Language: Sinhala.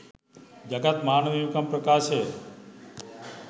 ජගත් මානව හිමිකම් ප්‍රකාශය